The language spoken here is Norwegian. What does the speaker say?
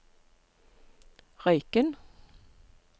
Røyken